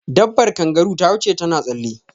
Dabar kangaru ta wuce ta na tsalle